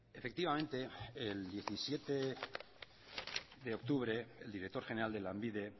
efectivamente el diecisiete de octubre el director general de lanbide